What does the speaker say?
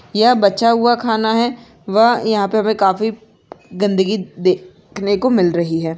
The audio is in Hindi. यह बचा हुआ खाना है व यहा पे हमे काफी गंदगी दे खने को मिल रही है।